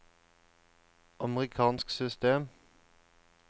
amerikansk system